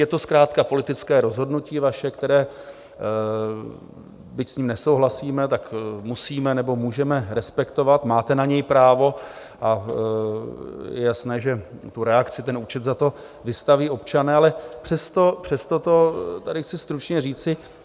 Je to zkrátka politické rozhodnutí vaše, které, byť s ním nesouhlasíme, tak musíme nebo můžeme respektovat, máte na něj právo, a je jasné, že tu reakci, ten účet za to vystaví občané, ale přesto to tady chci stručně říci.